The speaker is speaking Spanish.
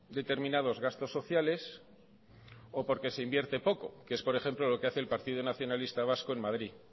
determinados gastos sociales o porque se invierte poco que es por ejemplo lo que hace el partido nacionalista vasco en madrid